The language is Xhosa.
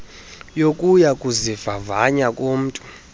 yokuya kuzivavanya komntu